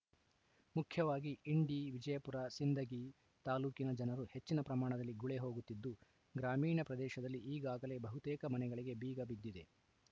ಮುಖ್ಯವಾಗಿ ಇಂಡಿ ವಿಜಯಪುರ ಸಿಂದಗಿ ತಾಲೂಕಿನ ಜನರು ಹೆಚ್ಚಿನ ಪ್ರಮಾಣದಲ್ಲಿ ಗುಳೆ ಹೋಗುತ್ತಿದ್ದು ಗ್ರಾಮೀಣ ಪ್ರದೇಶದಲ್ಲಿ ಈಗಾಗಲೇ ಬಹುತೇಕ ಮನೆಗಳಿಗೆ ಬೀಗ ಬಿದ್ದಿದೆ